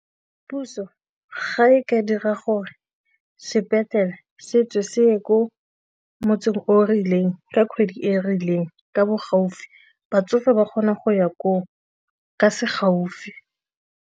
Puso ga e ka dira gore sepetlele se tswe se ye ko motseng o rileng ka kgwedi e e rileng ka bo gaufi batsofe ba kgona go ya koo ka se gaufi.